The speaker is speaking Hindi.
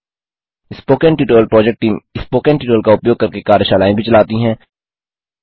spoken tutorial project team spoken tutorial का उपयोग करके कार्यशालाएँ भी चलाती है